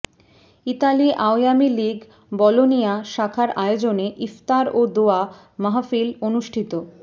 Italy Awami League Bologna শাখার আয়োজনে ইফতার ও দোয়া মাহফিল অনুষ্ঠিত